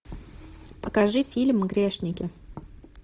покажи фильм грешники